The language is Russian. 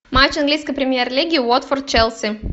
матч английской премьер лиги уотфорд челси